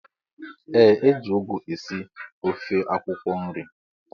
Ee eji ụgụ esị ofe akwụkwo nri.